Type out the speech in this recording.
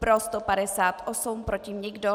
Pro 158, proti nikdo.